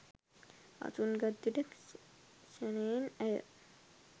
අසුන් ගත් විට ක්‍ෂණයෙන් ඇය